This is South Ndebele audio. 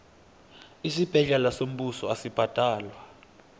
isibhedlela sombuso asibhadalwa